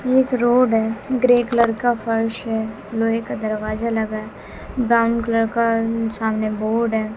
एक रोड है grey colour का फर्श है लोहे का दरवाजा लगा ब्राउन कलर का सामने बोड है।